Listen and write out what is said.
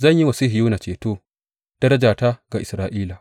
Zan yi wa Sihiyona ceto, darajata ga Isra’ila.